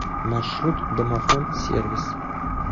маршрут домофон сервис